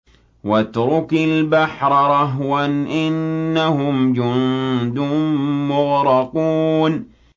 وَاتْرُكِ الْبَحْرَ رَهْوًا ۖ إِنَّهُمْ جُندٌ مُّغْرَقُونَ